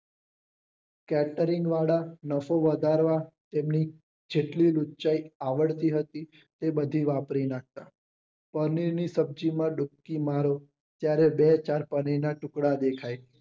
કેપ્રીનવાળા નસો વધારવા જેટલી લુચ્ચાઈ આવડતી હતી એ બધી વાપરી નાખતા પનીરની સબ્જી માં માંગે ત્યારે બે ચાર પનીરના ટુકડા દેખાય